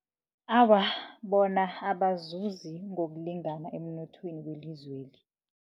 Awa bona abazuzi ngokulingana emnothweni welizweli.